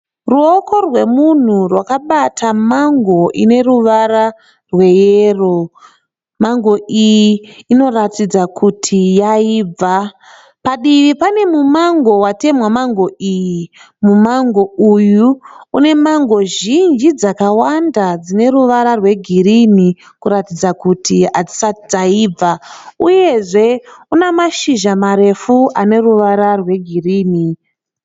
Ruoko rwemunhu rwakabata mango ine ruvara rweyero. Mango iyi inotaridza kuti yakaibva. Padivi pane mumango watemwa mango iyi. Mumango uyu une mango zhinji dzakawanda dzine ruvara rwegirinhi kutaridza kuti hadzisati dzaibva uyezve une mashizha marefu aneruvara rwegirinhi.